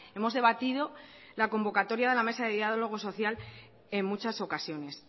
hemos debatido la convocatoria de la mesa de diálogo social en muchas ocasiones